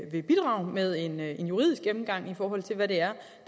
vil bidrage med en en juridisk gennemgang af hvad der